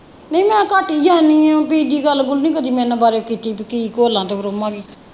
ਨਹੀਂ ਮੈਂ ਘੱਟ ਹੀ ਜਾਣੀ ਹੈ ਦੂਜੀ ਗੱਲ ਗੁੱਲ ਨਹੀਂ ਕਦੀ ਉਹਨਾਂ ਬਾਰੇ ਕੀਤੀ ਕੁਤੀ ਗੋਲਾਂ ਤੇ ਰੋਮਾਂ ਦੀ।